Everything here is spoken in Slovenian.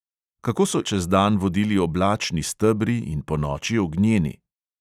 Kako so izraelce čez dan vodili oblačni stebri in ponoči ognjeni?